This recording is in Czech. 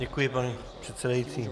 Děkuji, pane předsedající.